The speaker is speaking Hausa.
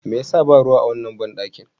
Me ya sa ba ruwa a wannan banɗakin?